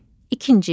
İkinci.